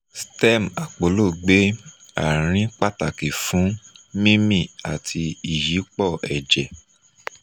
stem ọpọlọ gbe arin pataki fun mimi ati iyipo ẹ̀jẹ̀ um